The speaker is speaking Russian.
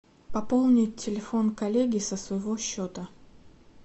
пополнить телефон коллеги со своего счета